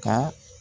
Ka